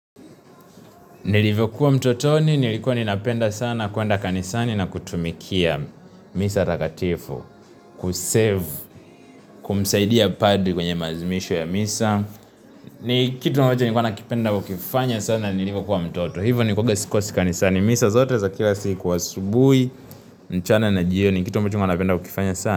Nilivyokuwa mtotoni, nilikuwa ninapenda sana kuenda kanisani na kutumikia misa takatifu, kuserve, kumsaidia padri kwenye maazimisho ya misa. Ni kitu ambacho nilikuwa nakipenda kukifanya sana nilivyokuwa mtoto, hivo nilikuwa sikosi kanisani, misa zote za kila siku wa asubuhi, mchana na jioni, kitu ambacho nilikuwa napenda kukifanya sana.